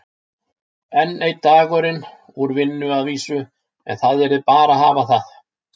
Enn einn dagurinn úr vinnu að vísu, en það yrði bara að hafa það.